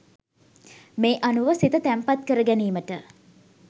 මේ අනුව සිත තැන්පත් කරගැනීමට